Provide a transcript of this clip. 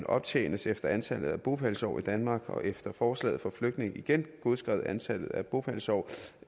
optjenes efter antallet af bopælsår i danmark og efter forslaget får flygtninge igen godskrevet antallet af bopælsår